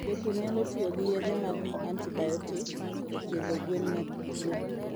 Jopur nyalo tiyo gi yedhe mag antibiotic e thiedho gwen ma tuwo.